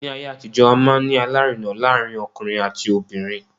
Ní ayé àtijó, a máa ń ní alárinà láàárín ọkùnrin àti obìnrin.